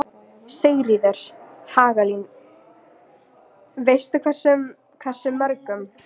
Sigríður Hagalín: Veistu hversu mörgum?